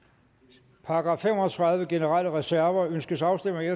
til § fem og tredive generelle reserver ønskes afstemning